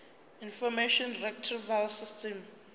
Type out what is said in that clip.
information retrieval system